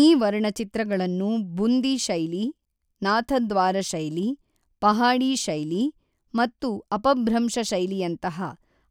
ಈ ವರ್ಣಚಿತ್ರಗಳನ್ನು ಬುಂದಿ ಶೈಲಿ, ನಾಥದ್ವಾರ ಶೈಲಿ, ಪಹಾಡಿ ಶೈಲಿ ಮತ್ತು ಅಪಭ್ರಂಶ ಶೈಲಿಯಂತಹ